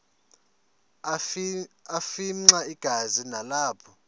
afimxa igazi nalapho